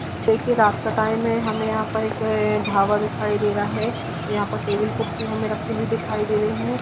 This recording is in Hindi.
देखिये रास्ता टाइम है. हमे यहाँ पर एक ढाबा दिखाई दे रहा है यहाँ पर टेबल कुर्सी हमे रखी हुई दिखाई दे रही है।